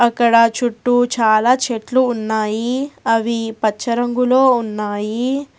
అక్కడ చుట్టూ చాలా చెట్లు ఉన్నాయి అవి పచ్చ రంగులో ఉన్నాయి.